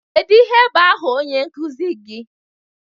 Kedụ ihe bụ áhà onye nkụzi gị?